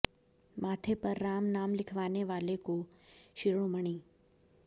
माथे पर राम नाम लिखवाने वाले को शिरोमणि